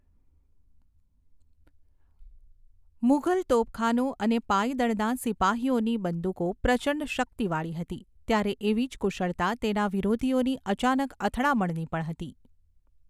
મુઘલ તોપખાનું અને પાયદળના સિપાહીઓની બંદૂકો પ્રચંડ શક્તિવાળી હતી ત્યારે એવી જ કુશળતા તેના વિરોધીઓની અચાનક અથડામણની પણ હતી.